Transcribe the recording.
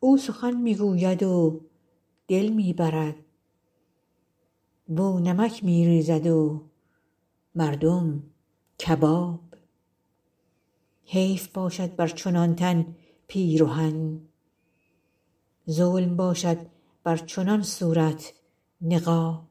او سخن می گوید و دل می برد واو نمک می ریزد و مردم کباب حیف باشد بر چنان تن پیرهن ظلم باشد بر چنان صورت نقاب